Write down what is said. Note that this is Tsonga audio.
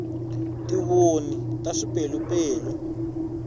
tivoni ta swipelupelu